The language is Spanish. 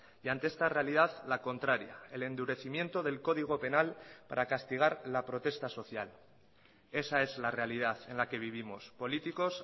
y ante esta realidad la contraria el endurecimiento del código penal para castigar la protesta social esa es la realidad en la que vivimos políticos